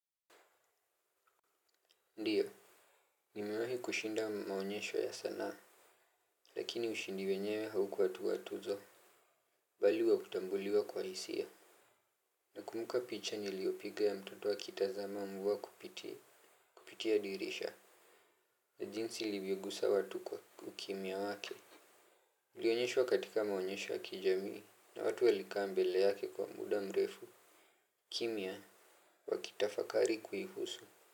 Ndiyo, nimewahi kushinda maonyesho ya sanaa. Lakini ushindi wenyewe haukuwa tu wa tuzo. Bali wakutambuliwa kwa hisia. Nakumbuka picha niliyopiga ya mtoto akitazama mvua kupitia kupitia dirisha na jinsi ilivyoguza watu kwa ukimya wake. Ulionyeshwa katika maonyesho ya kijamii na watu walikaa mbele yake kwa muda mrefu. Kimya wakitafakari kuihuhusu Muzika.